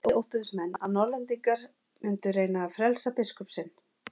Í Skálholti óttuðust menn að Norðlendingar mundu reyna að frelsa biskup sinn.